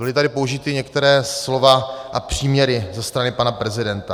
Byla tady použita některá slova a příměry ze strany pana prezidenta.